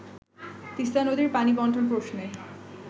তিস্তা নদীর পানি বন্টন প্রশ্নে